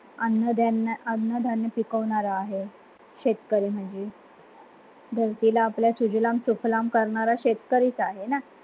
अन्नधान् अन्न धान्य पिकणार आहे शेतकरी म्हणजे धरतीला आपल्या सुजलाम सुफलाम करणारा शेतकरीच आहे ना?